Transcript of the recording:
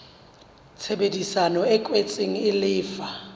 tshebedisano e kwetsweng e lefa